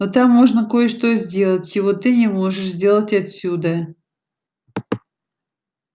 но там можно кое-что сделать чего ты не можешь сделать отсюда